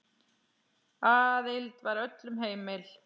Aðild var öllum heimil.